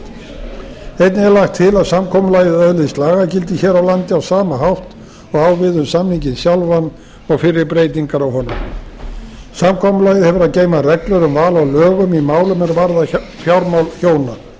einnig er lagt til að samkomulagið öðlist lagagildi hér á landi á sama hátt og á við um samninginn sjálfan og fyrri breytingar á honum samkomulagið hefur að geyma reglur um val á lögum í málum er varða fjármál hjóna